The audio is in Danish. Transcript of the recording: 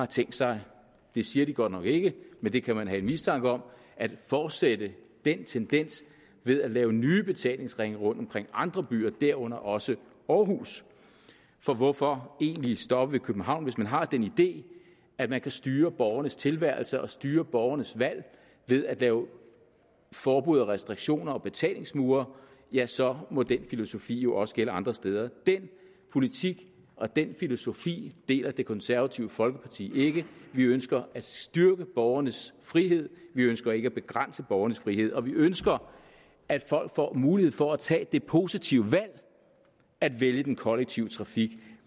tænkt sig det siger de godt nok ikke men det kan man have en mistanke om at fortsætte den tendens ved at lave nye betalingsringe rundt omkring andre byer herunder også aarhus for hvorfor egentlig stoppe ved københavn hvis man har den idé at man kan styre borgernes tilværelse og styre borgernes valg ved at lave forbud og restriktioner og betalingsmure ja så må den filosofi jo også gælde andre steder den politik og den filosofi deler det konservative folkeparti ikke vi ønsker at styrke borgernes frihed vi ønsker ikke at begrænse borgernes frihed og vi ønsker at folk får mulighed for at tage det positive valg at vælge den kollektive trafik